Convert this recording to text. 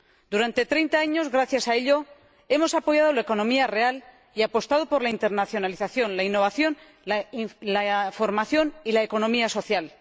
Durante 30 años, gracias a ello, hemos apoyado la economía real y apostado por la internacionalización, la innovación, la formación y la economía social.